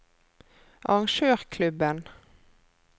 arrangørklubben